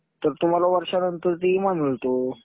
तर तुम्हाला वर्षानंतर तो विमा मिळतो.